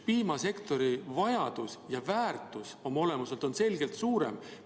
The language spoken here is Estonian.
Piimasektori vajadus ja väärtus on oma olemuselt selgelt suurem.